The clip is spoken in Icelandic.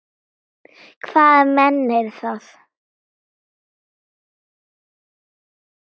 Hvaða menn eru það?